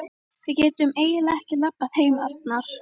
Við getum eiginlega ekki labbað heim, Arnar.